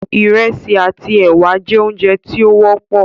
iresi àti ewa jẹ oúnjẹ tí o wọpọ.